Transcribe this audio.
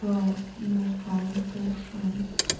аа музыка по ушам